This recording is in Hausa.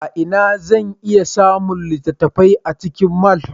A ina zan iya samun littattafai a cikin mall?